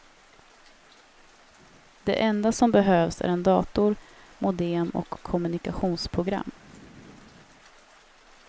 Det enda som behövs är en dator, modem och kommunikationsprogram.